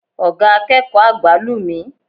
Oga akeeko agba lu mi